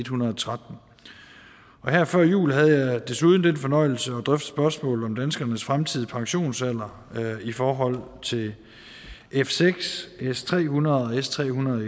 hundrede og tretten og her før jul havde jeg desuden den fornøjelse at drøfte spørgsmålet om danskernes fremtidige pensionsalder i forhold til f seks s tre hundrede og s tre hundrede og